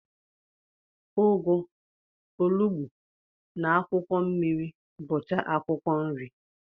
Ụgụ, olugbu, na akwụkwọ mmiri bucha akwụkwọ nri.